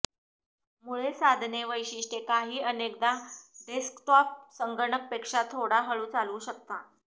मुळे साधने वैशिष्ट्ये काही अनेकदा डेस्कटॉप संगणक पेक्षा थोडा हळु चालवू शकता